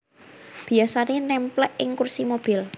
Biyasané némplék ing kursi mobil